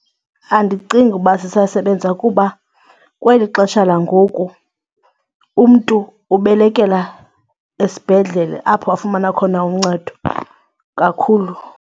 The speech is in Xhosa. Andicingi uba sisasebenza kuba kweli xesha langoku umntu ubelekela esibhedlele apho afumana khona uncedo kakhulu.